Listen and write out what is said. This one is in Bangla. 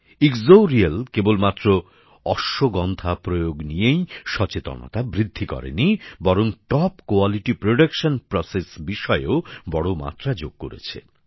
ইক্সোরিয়েল কেবলমাত্র অশ্বগন্ধা প্রয়োগ নিয়েই সচেতনতা বৃদ্ধি করেনি বরং উন্নত গুণমানের পণ্যসামগ্রীর বিষয়েও বড় মাত্রা যোগ করেছে